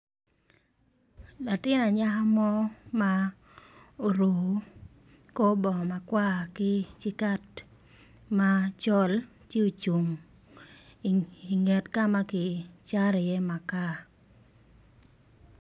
Latin anyaka mo ma oruko kor bongo makwar ki sikat macol ci ocung inget kama kicato i ye makar.